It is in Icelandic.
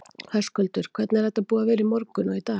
Höskuldur: Hvernig er þetta búið að vera í morgun og í dag?